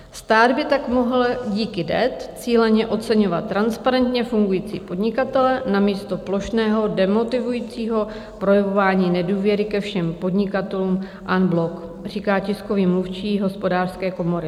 "Stát by tak mohl díky DET cíleně oceňovat transparentně fungující podnikatele namísto plošného demotivujícího projevování nedůvěry ke všem podnikatelům en bloc," říká tiskový mluvčí Hospodářské komory.